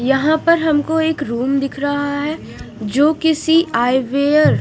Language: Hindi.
यहाँ पर हमको एक रूम दिख रहा है जो किसी आय वेयर --